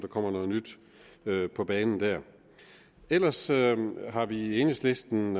kommer noget nyt på banen ellers har vi i enhedslisten